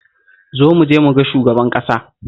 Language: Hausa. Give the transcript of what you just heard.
Zo mu je mu ga shugaban ƙasa